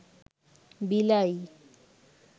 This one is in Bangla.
বিলাই